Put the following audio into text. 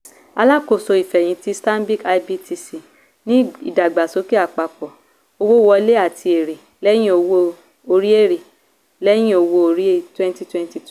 alákóso ìfẹ̀hìntì stanbic ibtc ní ìdàgbàsókè àpapọ̀ owó wọlé àti èrè lẹhìn owó-orí èrè lẹhìn owó-orí twenty twenty two.